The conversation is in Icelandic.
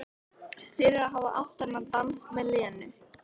Fyrir að hafa átt þennan dans með Lenu.